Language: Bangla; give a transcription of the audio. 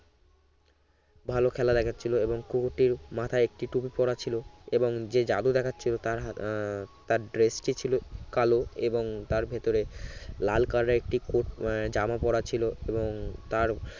ভালো খেলা দেখাচ্ছিলো এবং কুকুরটির মাথায় একটি টুপি পরা ছিল এবং যে জাদু দেখাচ্ছিলো তার হাত তার dress টি ছিল কালো এবং তার ভেতরে লাল color এর একটি coat জামা পড়া ছিল এবং তার